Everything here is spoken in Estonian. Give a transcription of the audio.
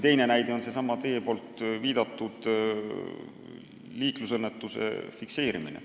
Teine näide on seesama teie viidatud liiklusõnnetuse fikseerimine.